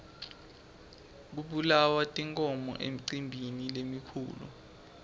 kubulawa tinkhomo emicimbini lemikhulu